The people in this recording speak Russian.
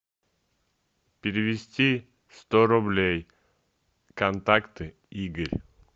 перевести сто рублей контакты игорь